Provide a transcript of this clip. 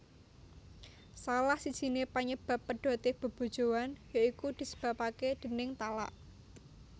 Salah sijiné panyebab pedoté bebojoan ya iku disebapaké déning talak